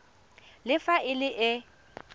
le fa e le e